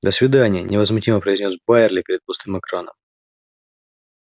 до свидания невозмутимо произнёс байерли перед пустым экраном